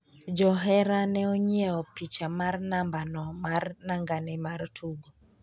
johera ne onyiewo picha mar nambano mar nangane mar tugo